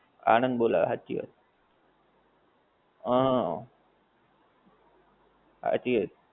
આણંદ બોલાવે હાંચી વાત. અ હાંચી વાત.